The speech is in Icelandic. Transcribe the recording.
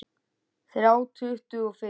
Þrjá tuttugu og fimm